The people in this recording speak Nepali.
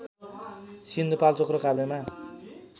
सिन्धुपाल्चोक र काभ्रेमा